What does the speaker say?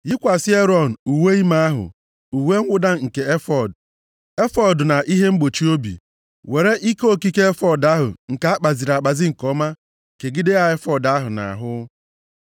Yikwasị Erọn uwe ime ahụ, uwe mwụda nke efọọd, efọọd ahụ na ihe mgbochi obi. Were ihe okike efọọd ahụ nke akpaziri nke ọma kegide ya efọọd ahụ nʼahụ.